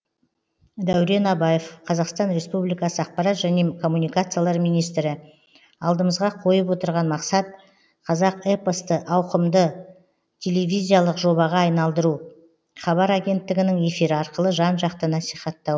дәурен абаев қазақстан республикасы ақпарат және коммуникациялар министрі алдымызға қойып отырған масқат қазақ эпосты ауқымды тв жобаға айналдыру хабар агенттігінің эфирі арқылы жан жақты насихаттау